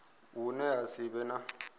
hune ha si vhe na